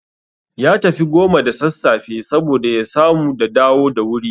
Ya tafi goma da sassafe saboda ya samu da dawo da wuri